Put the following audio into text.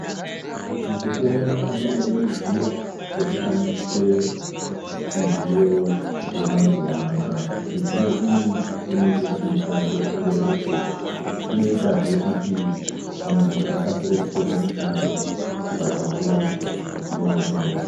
Mukupona munoda ruzivo rwekushandisa midziyo yemazuwa anoya. Midziyo iyi inoita kuti basa rireruke. Inoita zve kuti muntu akasire kupedza mushando pachinguwa chidodori.